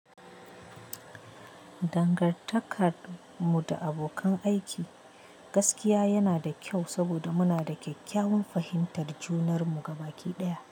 Dangantakar mu da abokan aiki gaskiya yana da kyau saboda muna da kyakkyawan fahimtar junan mu gaba ɗaya.